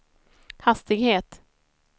hastighet